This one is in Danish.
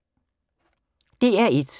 DR1